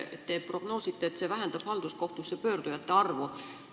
Te prognoosite, et see vähendab halduskohtusse pöördujate arvu.